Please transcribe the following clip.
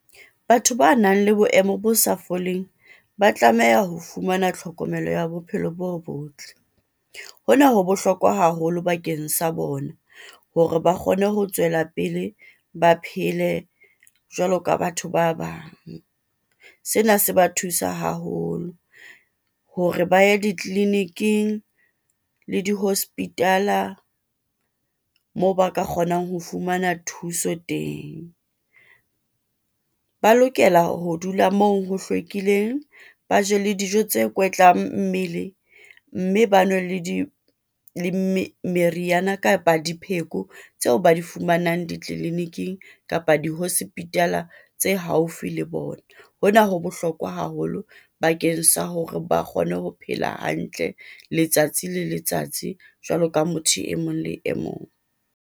Batho ba nang le boemo bo sa foleng, ba tlameha ho fumana tlhokomelo ya bophelo bo botle. Hona ho bohlokwa haholo bakeng sa bona, hore ba kgone ho tswela pele, ba phele jwalo ka batho ba bang. Sena se ba thusa haholo hore ba ye di tleliniking le di hospitaal a moo ba ka kgonang ho fumana thuso teng. Ba lokela ho dula moo ho hlwekileng, ba je le dijo tse kwetla mmele, mme ba nwe le di meriana kapa dipheko tseo ba di fumanang ditleliniking, kapa di hospital-a tse haufi le bona. Hona ho bohlokwa haholo bakeng sa hore ba kgone ho phela hantle, letsatsi le letsatsi jwaloka motho e mong le e mong.